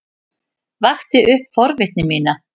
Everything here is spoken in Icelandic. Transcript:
Vakti upp forvitni mína.